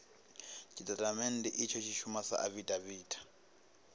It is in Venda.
tshitatamennde itsho tshi shuma sa afidaviti